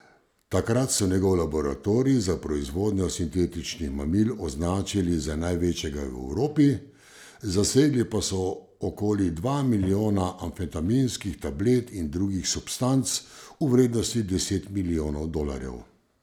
Takrat so njegov laboratorij za proizvodnjo sintetičnih mamil označili za največjega v Evropi, zasegli pa so okoli dva milijona amfetaminskih tablet in drugih substanc v vrednosti deset milijonov dolarjev.